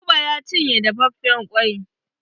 Buba ya cinye dafafen ƙwai.